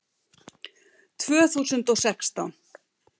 Tvö þúsund og sextán